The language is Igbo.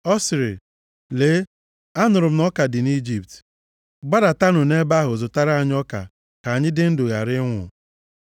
Ọ sịrị, “Lee anụrụ m na ọka dị nʼIjipt. Gbadatanụ nʼebe ahụ zụtara anyị ọka ka anyị dị ndụ ghara ịnwụ.”